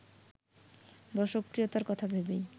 দর্শকপ্রিয়তার কথা ভেবেই